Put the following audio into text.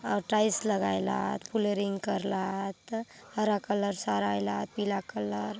और टाइल्स लगाय ला आत फ्लोरिंग करला आत हरा कलर सराय ला आतपीला कलर ।